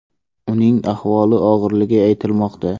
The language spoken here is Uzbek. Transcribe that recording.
Uning ahvoli og‘irligi aytilmoqda.